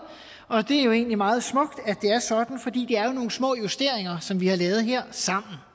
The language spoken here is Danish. og det er jo egentlig meget smukt at det er sådan fordi det er jo nogle små justeringer som vi har lavet her sammen